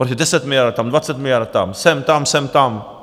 Protože 10 miliard tam, 20 miliard tam, sem, tam, sem, tam.